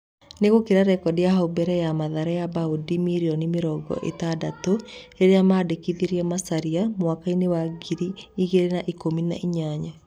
Nĩĩgũkĩra rekodi ya hau mbere ya Mathare ya baũndi mirioni mĩrongo ĩtandatũ rĩrĩa mandĩkithirie Macharia mwakainĩ wa ngiri igĩrĩ na ikũmi na inyanya.